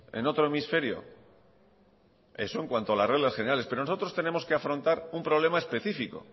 en otro hemisferio eso en cuanto a las reglas generales pero nosotros tenemos que afrontar un problema específico